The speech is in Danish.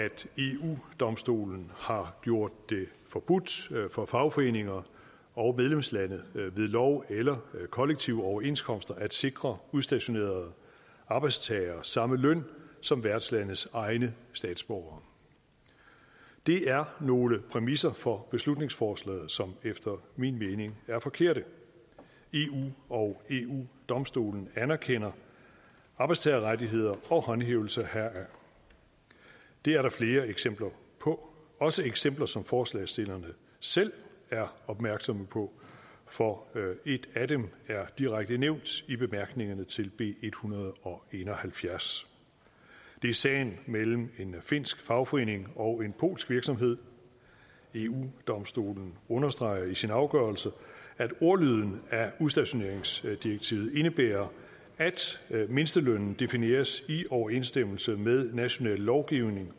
eu domstolen har gjort det forbudt for fagforeninger og medlemslande ved lov eller kollektive overenskomster at sikre udstationerede arbejdstagere samme løn som værtslandes egne statsborgere det er nogle præmisser for beslutningsforslaget som efter min mening er forkerte eu og eu domstolen anerkender arbejdstagerrettigheder og håndhævelse heraf det er der flere eksempler på også eksempler som forslagsstillerne selv er opmærksomme på for et af dem er direkte nævnt i bemærkningerne til b en hundrede og en og halvfjerds det er sagen mellem en finsk fagforening og en polsk virksomhed eu domstolen understreger i sin afgørelse at ordlyden af udstationeringsdirektivet indebærer at mindstelønnen defineres i overensstemmelse med national lovgivning